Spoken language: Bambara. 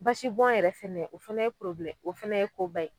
Basi bɔn yɛrɛ fɛnɛ o fɛnɛ ye porobilɛ o fɛnɛ ye koba